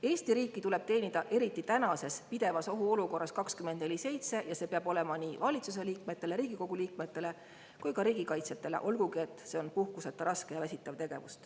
Eesti riiki tuleb teenida, eriti tänases pidevas ohuolukorras, 24/7 ja see peab olema nii valitsuse liikmetele, Riigikogu liikmetele kui ka riigikaitsjatele, olgugi et see on puhkuseta, raske ja väsitav tegevus.